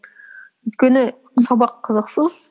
өйткені сабақ қызықсыз